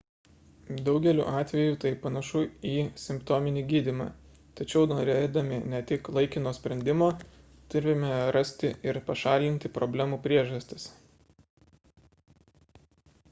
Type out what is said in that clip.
daugeliu atvejų tai panašu į simptominį gydymą tačiau norėdami ne tik laikino sprendimo turime rasti ir pašalinti problemų priežastis